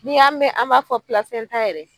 N' y'a mɛn an b'a fɔ plasɛntan yɛrɛ